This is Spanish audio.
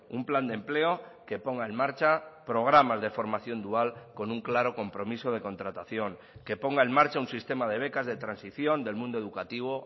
un plan de empleo que ponga en marcha programas de formación dual con un claro compromiso de contratación que ponga en marcha un sistema de becas de transición del mundo educativo